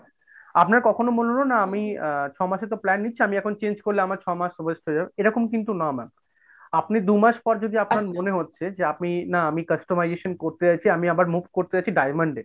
আপনার কখনো মনে হলো না আমি ছমাসের তো plan নিচ্ছি আমি এখন change করলে আমার ছ'মাস এরকম কিন্তু না ma'am আপনার দু'মাস পরে যদি আপনার মনে হচ্ছে যে আপনি না আমি customization করতে চাইছি আমি আবার move করতে চাইছি diamond এ,